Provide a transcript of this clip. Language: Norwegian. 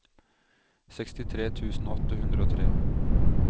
sekstitre tusen åtte hundre og tre